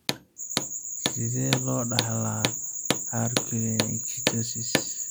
Sidee loo dhaxlaa harlequin ichthyosis?